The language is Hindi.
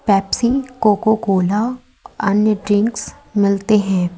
पेप्सी कोको कोला अन्य ड्रिंक्स मिलते हैं।